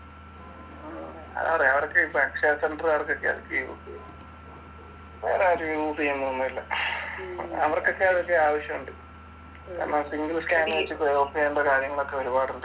അതാപറഞ്ഞേ അവർക്ക് ഇപ്പോ അക്ഷയ സെന്റർകാർ ഒക്കെഅതു യൂസ് ചെയ്യ് ഉള്ളൂ. അതൊക്കെ യൂസ് വേറാരും യൂസ് ചെയ്യുന്നൊന്നും ഇല്ല. അവർക്കൊക്കെ അതൊക്കെ ആവശ്യമുണ്ട് കാരണം സിമ്പിൾ സ്‌ക്യാനർ ഉപയോഗിച്ച് യൂസ് ചെയ്യേണ്ട കാര്യങ്ങളൊക്കെ ഒരുപാടുണ്ട്.